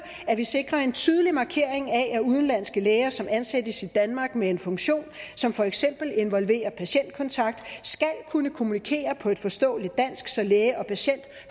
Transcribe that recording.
at vi sikrer en tydelig markering af at udenlandske læger som ansættes i danmark med en funktion som for eksempel involverer patientkontakt skal kunne kommunikere på et forståeligt dansk så læge og patient